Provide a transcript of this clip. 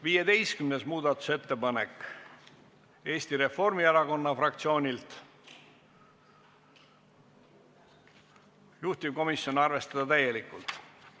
15. muudatusettepanek, Eesti Reformierakonna fraktsioonilt, juhtivkomisjon: arvestada täielikult.